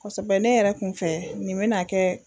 Kosɛbɛ ne yɛrɛ kun fɛ nin bɛ n'a kɛ